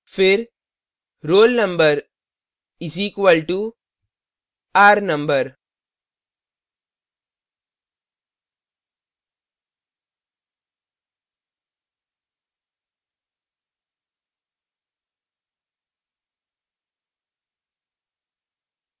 फिर roll _ number is equal to r number